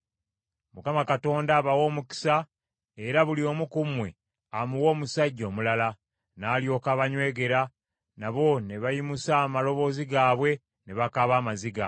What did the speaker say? Mukama Katonda abawe omukisa era buli omu ku mmwe, amuwe omusajja omulala.” N’alyoka abanywegera, nabo ne bayimusa amaloboozi gaabwe, ne bakaaba amaziga,